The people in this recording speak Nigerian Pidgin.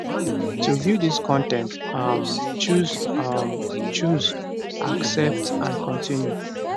to view dis con ten t um choose um choose accept and continue